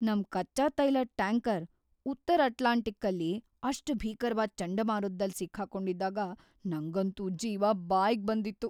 ನಮ್ ಕಚ್ಚಾ ತೈಲದ್ ಟ್ಯಾಂಕರ್ ಉತ್ತರ ಅಟ್ಲಾಂಟಿಕ್ಕಲ್ಲಿ ಅಷ್ಟ್ ಭೀಕರವಾದ್ ಚಂಡಮಾರುತ್ದಲ್ಲಿ ಸಿಕ್ಕೊಂಡಿದ್ದಾಗ ನಂಗಂತೂ ಜೀವ ಬಾಯ್ಗ್‌ ಬಂದಿತ್ತು.